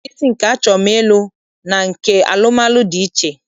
Ọla mkpịsị nke achọm ịlụ na nke alụmalụ dị iche iche